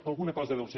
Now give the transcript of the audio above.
per alguna cosa deu ser